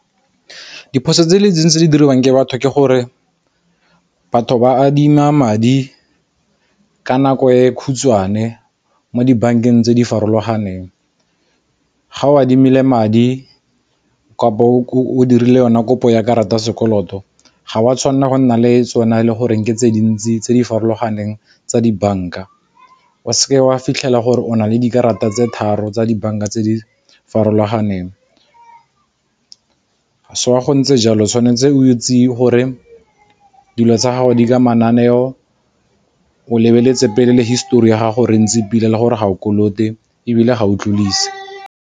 Ke diphoso tse tse di diriwang ke batho ke gore, batho ba adima madi ka nako e khutshwane mo dibankeng tse di farologaneng. Ga o adimile madi kapa o dirile yona kopo ya karata ya sekoloto ga wa tshwanela go nna le tsona e le goreng ke tse dintsi tse di farologaneng tsa dibank-a, o seke wa fitlhela gore o na le dikarata tse tharo tsa dibanka tse di farologaneng se wa go ntse jalo tshwanetse o tseye gore dilo tsa gago di ka mananeo o lebeletse pele le histori ya gago re ntsi pila le gore ga o kolote ebile ga o tlodise.